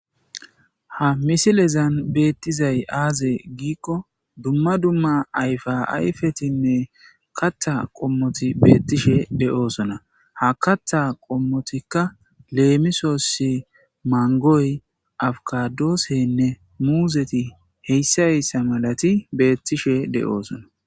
ha misilezan beettizay aaze giikko dumma dumma ayfa ayfetinne katta qommoti beettishe de'osona ha katta qommotikka leemisoossi mangoy afukadoosenne muuzeti heyssa heyssa malati beettishe de'oosona